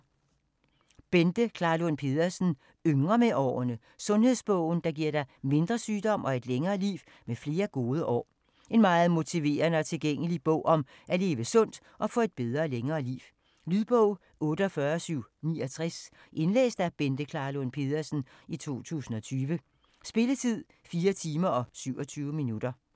Klarlund Pedersen, Bente: Yngre med årene: sundhedsbogen, der giver dig mindre sygdom og et længere liv med flere gode år En meget motiverende og tilgængelig bog om at leve sundt og få et bedre og længere liv. Lydbog 48769 Indlæst af Bente Klarlund Pedersen, 2020. Spilletid: 4 timer, 27 minutter.